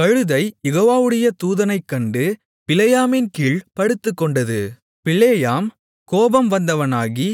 கழுதை யெகோவாவுடைய தூதனைக்கண்டு பிலேயாமின் கீழ்ப் படுத்துக்கொண்டது பிலேயாம் கோபம் வந்தவனாகி